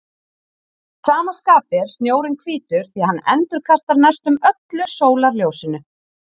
Að sama skapi er snjórinn hvítur því hann endurkastar næstum öllu sólarljósinu.